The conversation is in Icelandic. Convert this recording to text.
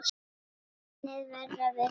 Muniði verða við því?